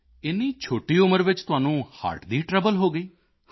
ਏਨੀ ਛੋਟੀ ਉਮਰ ਵਿੱਚ ਤੁਹਾਨੂੰ ਹਰਟ ਦੀ ਟ੍ਰਬਲ ਹੋ ਗਈ